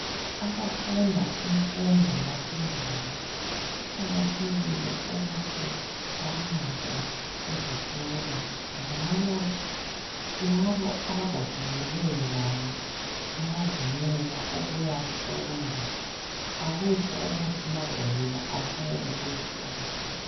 Abafunda imfundo yaphezulu kuqakathekile ukuthi bahambe ezikolo njalo labo abagogekileyo labo bayavunyelwa ukuyafunda. Akutsho ukuthi ma ugogekile awusayenelisi ukufunda.